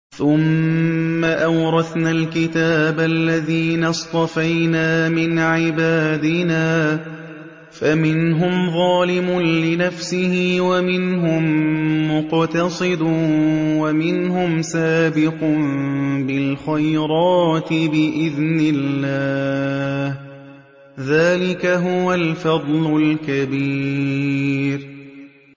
ثُمَّ أَوْرَثْنَا الْكِتَابَ الَّذِينَ اصْطَفَيْنَا مِنْ عِبَادِنَا ۖ فَمِنْهُمْ ظَالِمٌ لِّنَفْسِهِ وَمِنْهُم مُّقْتَصِدٌ وَمِنْهُمْ سَابِقٌ بِالْخَيْرَاتِ بِإِذْنِ اللَّهِ ۚ ذَٰلِكَ هُوَ الْفَضْلُ الْكَبِيرُ